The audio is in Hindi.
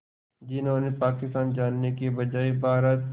जिन्होंने पाकिस्तान जाने के बजाय भारत